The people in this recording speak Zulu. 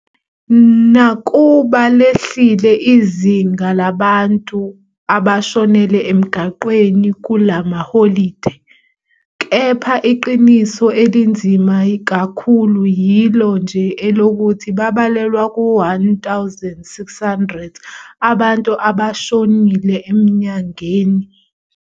Nakuba lehlile izinga labantu abashonele emgwaqweni kula maholide, kepha iqiniso elinzima kakhulu yilo nje elokuthi babalelwa kwi-1,600 abantu abashonile enyangeni nohhafu khona emigwaqweni yethu.